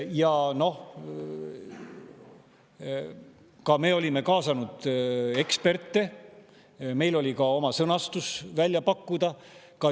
Ja noh, me olime kaasanud eksperte, meil oli ka oma sõnastus välja pakkuda.